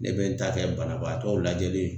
Ne be n ta kɛ banabaatɔw lajɛli ye